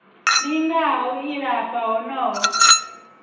linga ha u ilafha honoho